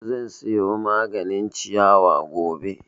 Zan siyo maganin ciyawa gobe